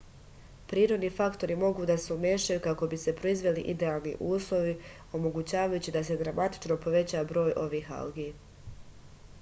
prirodni faktori mogu da se umešaju kako bi se proizveli idealni uslovi omogućavajući da se dramatično poveća broj ovih algi